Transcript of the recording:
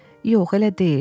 Yox, elə deyil.